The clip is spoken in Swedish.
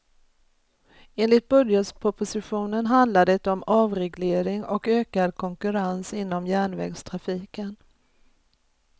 Enligt budgetpropositionen handlar det om avreglering och ökad konkurrens inom järnvägstrafiken.